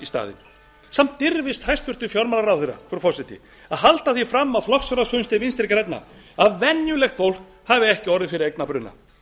staðinn samt dirfist hæstvirtur fjármálaráðherra frú forseti að halda því fram á flokksráðsfundi vinstri grænna að venjulegt fólk hafi ekki orðið fyrir eignabruna